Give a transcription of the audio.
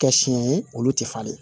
Kɛ siɲɛ ye olu tɛ falen